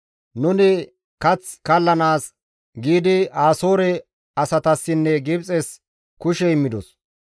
Nuni kath kallanaas giidi Asoore asatassinne Gibxes kushe immidos.